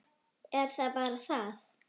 Er það bara það?